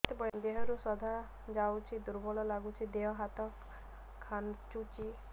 ଦେହରୁ ସାଧା ଯାଉଚି ଦୁର୍ବଳ ଲାଗୁଚି ଦେହ ହାତ ଖାନ୍ଚୁଚି